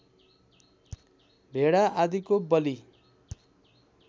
भेडा आदिको बलि